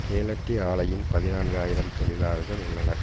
கேலட்டி ஆலையில் பதினான்கு ஆயிரம் தொழிலாளர்கள் உள்ளனர்